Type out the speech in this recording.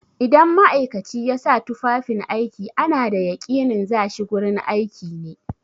Idan ma'aikaci ya sa tufafin aiki ana da yaƙinin za shi gurin aiki ne.